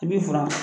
I b'i furan